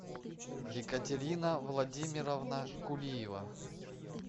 екатерина владимировна кулиева